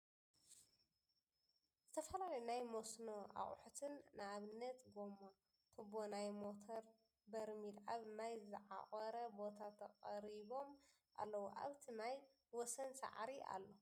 ዝተፈላለዩ ናይ ሞስኖ ኣቁሕት ነኣብነት ጎማ ፣ ቱቦ ናይ ሞቶር በርሚል ኣብ ማይ ዝዓቆረ ቦታ ተቀሪቢም ኣለዉ ። ኣብቲ ማይ ወሰን ሳዕሪ ኣሎ ።